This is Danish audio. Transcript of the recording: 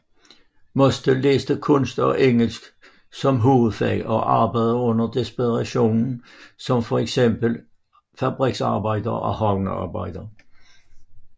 Mostel læste kunst og engelsk som hovedfag og arbejdede under depressionen som fx fabriksarbejder og havnearbejder